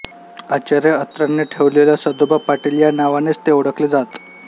आचार्य अत्र्यांनी ठेवलेल्या सदोबा पाटील या नावानेच ते ओळखले जात